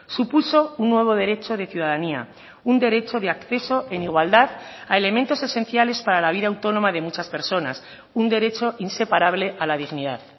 supuso un nuevo derecho de ciudadanía un derecho de acceso en igualdad a elementos esenciales para la vida autónoma de muchas personas un derecho inseparable a la dignidad